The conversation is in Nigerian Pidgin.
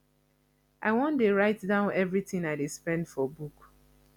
i wan dey write down everything i dey spend for book